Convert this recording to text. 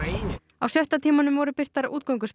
á sjötta tímanum voru birtar